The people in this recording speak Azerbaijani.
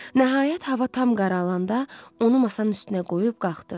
Nəhayət hava tam qaralanda, onu masanın üstünə qoyub qalxdı.